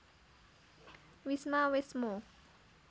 Wisma wésmo